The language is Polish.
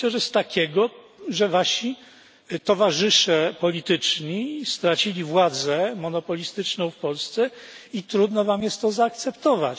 Myślę, że z takiego, że wasi towarzysze polityczni stracili władzę monopolistyczną w Polsce i trudno wam jest to zaakceptować.